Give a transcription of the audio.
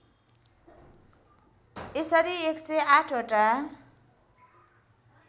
यसरी १०८ वटा